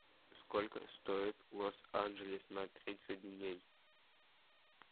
сколько стоит лос анджелес на тридцать дней